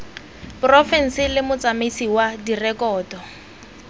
porofense le motsamaisi wa direkoto